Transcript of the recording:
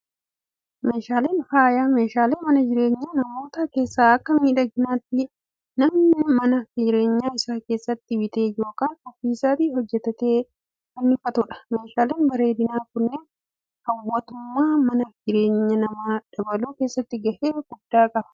Meeshaaleen faayaa, meeshaalee mana jireenyaa namootaa keessatti akka miidhaginaatti namni mana jireenyaa isaa keessatti bitee yookaan ofii isaatii hojjatatee fannifatudha. Meeshaaleen bareedinaa kunneen hawwatummaa mana jireenyaa namaa dabaluu keessatti gahee guddaa qabu.